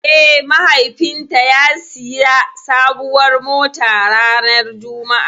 Eh mahaifin ta ya siya sabuwar mota ranar Juma'a